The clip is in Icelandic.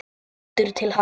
Lítur til hans.